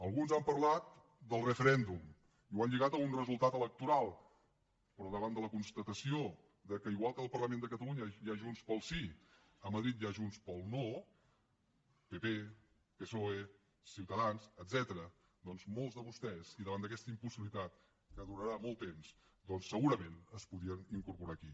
alguns han parlat del referèndum i ho han lligat a un resultat electoral però davant de la constatació que igual que al parlament de catalunya hi ha junts pel sí a madrid hi ha junts pel no pp psoe ciutadans etcètera doncs molts de vostès i davant d’aquesta impossibilitat que durarà molt temps segurament es podrien incorporar aquí